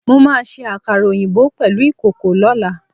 Mo máa se àkàrà òyìnbó pèlú ìkòkò lọ́lá